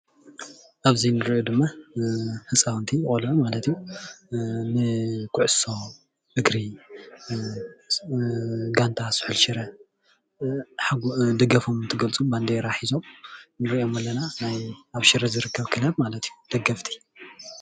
ኣብዚ ንሪኦ ድማ ህፃዉንቲ ቆልዑ ማለት እዩ ንኩዕሶ እግሪ ጋንታ ስሑል ሽረ ደገፎም እንተገልፁ ባንዴራ ሒዞም ንሪኦም ኣለና ናይ ኣብ ሽረ ዝርከብ ክለብ ማለት እዩ ደገፍቲ።